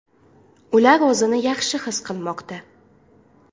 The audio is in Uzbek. Ular o‘zini yaxshi his qilmoqda.